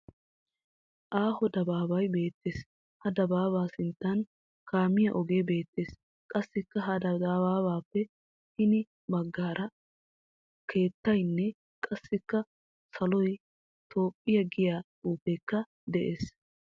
Aaho dabaabay beettes. Ha dabaabaa sinttan kaamiya oge beettes. Qassikka ha dabaabaappe hini baggaara keettaynne qassikka saloy, "toophphiya" giya xuufeekka des